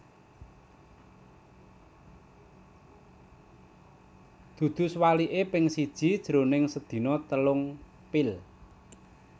Dudu suwaliké ping siji jroning sedina telung pil